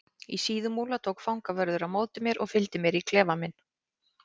Í Síðumúla tók fangavörður á móti mér og fylgdi mér í klefa minn.